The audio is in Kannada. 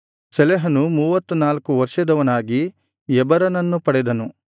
ಶೆಲಹನು ಮೂವತ್ತನಾಲ್ಕು ವರ್ಷದವನಾಗಿ ಎಬರನನ್ನು ಪಡೆದನು